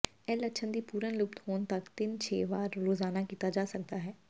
ਇਹ ਲੱਛਣ ਦੀ ਪੂਰਨ ਲੁਪਤ ਹੋਣ ਤੱਕ ਤਿੰਨ ਛੇ ਵਾਰ ਰੋਜ਼ਾਨਾ ਕੀਤਾ ਜਾ ਸਕਦਾ ਹੈ